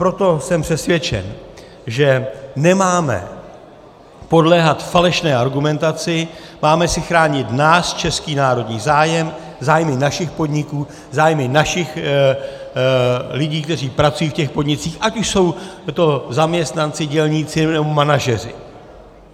Proto jsem přesvědčen, že nemáme podléhat falešné argumentaci, máme si chránit náš český národní zájem, zájmy našich podniků, zájmy našich lidí, kteří pracují v těch podnicích, ať už jsou to zaměstnanci, dělníci, nebo manažeři.